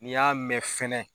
N'i y'a mɛn fɛnɛ